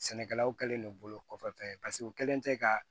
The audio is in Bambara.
Sɛnɛkɛlaw kɛlen do bolo kɔfɛtɔ ye paseke u kɛlen tɛ ka